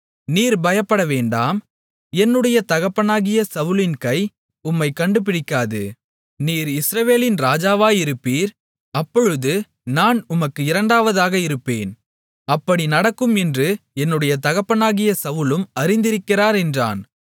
நீர் பயப்படவேண்டாம் என்னுடைய தகப்பனாகிய சவுலின் கை உம்மைக் கண்டு பிடிக்காது நீர் இஸ்ரவேலின்மேல் ராஜாவாயிருப்பீர் அப்பொழுது நான் உமக்கு இரண்டாவதாக இருப்பேன் அப்படி நடக்கும் என்று என்னுடைய தகப்பனாகிய சவுலும் அறிந்திருக்கிறார் என்றான்